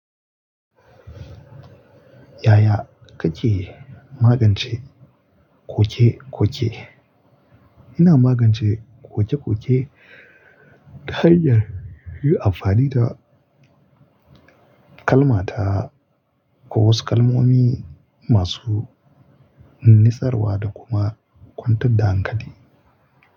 Yaya kake magance koke-koke? Ina magance koke-koke ta hanyar yin amfani da kalma ta ko wasu kalmomi masu nisarwa da kuma kwantar da hankali.